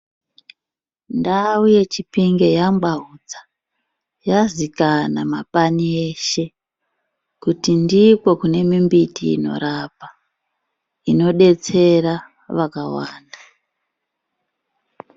Ndau yeChipinge yangwaudza, yazikana mapani eshe kuti ndiko kune mimbiti inorapa, inodetsera vakawanda.